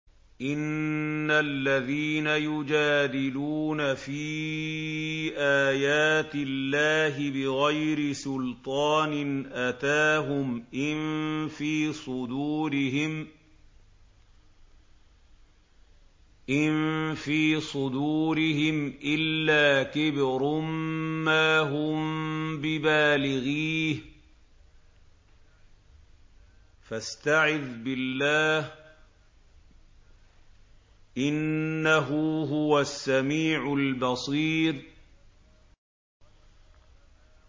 إِنَّ الَّذِينَ يُجَادِلُونَ فِي آيَاتِ اللَّهِ بِغَيْرِ سُلْطَانٍ أَتَاهُمْ ۙ إِن فِي صُدُورِهِمْ إِلَّا كِبْرٌ مَّا هُم بِبَالِغِيهِ ۚ فَاسْتَعِذْ بِاللَّهِ ۖ إِنَّهُ هُوَ السَّمِيعُ الْبَصِيرُ